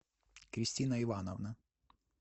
кристина ивановна